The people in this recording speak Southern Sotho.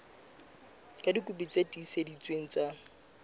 ka dikopi tse tiiseleditsweng tsa